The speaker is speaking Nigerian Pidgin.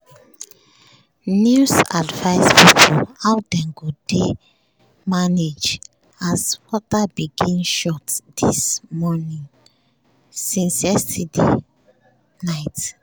news advise people how dem go dey manage as water begin short since yesterday night.